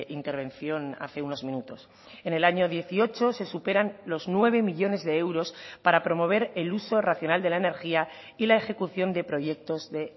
intervención hace unos minutos en el año dieciocho se superan los nueve millónes de euros para promover el uso racional de la energía y la ejecución de proyectos de